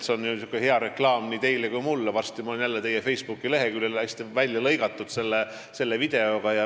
See on ju hea reklaam nii teile kui ka mulle ja varsti ma olen jälle teie Facebooki leheküljel selle videoga.